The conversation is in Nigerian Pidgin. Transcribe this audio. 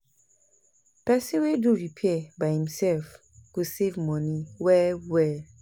pesin wey do repair by imself go save moni well well